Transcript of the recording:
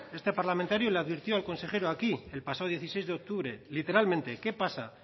este parlamentario le advirtió al consejero aquí el pasado dieciséis de octubre literalmente qué pasa